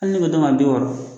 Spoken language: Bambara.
Hali ne bɛ bi wɔɔrɔ